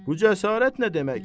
Bu cəsarət nə demək?